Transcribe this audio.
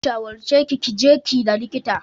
Zan shawarce ki ki je ki ga likita.